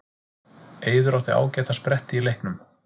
Eiður átti ágæta spretti í leiknum